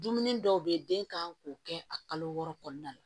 Dumuni dɔw be ye den kan k'o kɛ a kalo wɔɔrɔ kɔnɔna la